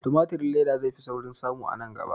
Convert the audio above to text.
Timatirin leda zai fi sauƙin samu a nan gaba